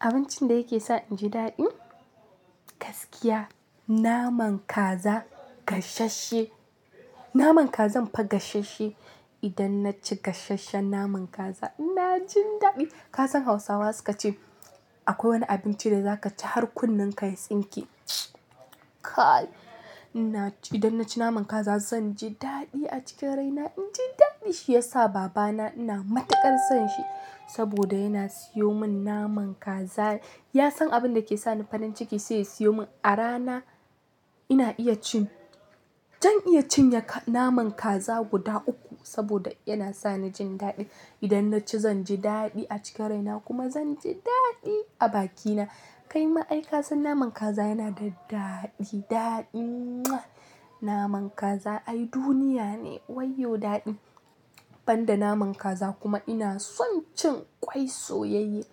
Abincin da yake sa inji daɗi, gaskiya naman kaza gasashe. Naman kaza in fa gashashsheen idan naci gasasshen naman kaza ina jin daɗi. Ka san Hausawa suke cewa akwai wani abinci da zaka ci har kunnenka ya tsinke. Kai! Idan naci naman kaza zanje daɗi a cikin raina. Inji daɗi. Shi yasa babana ina matuƙar son shi saboda yana siyo min naman kaza. Ya san abin da yake sa ni farin ciki sai ya siyo min. A rana ina iya cin, zan iya cinye naman kaza guda uku saboda yana sani jin daɗi. Idan naci zanje daɗi a cikin raina kuma zanje daɗi a bakina. Kai ma'aikani ka san naman kaza yana da daɗi, daɗi. Naman kaza ai duniyane. Wai yo daɗi. Banda naman kaza kuma ina son cin ƙwai soyayye.